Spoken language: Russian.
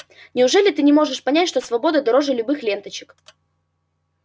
неужели ты не можешь понять что свобода дороже любых ленточек